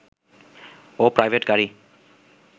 ও private গাড়ী